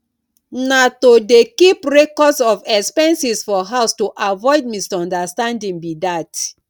na to dey keep records of expenses for house to avoid misunderstanding be dat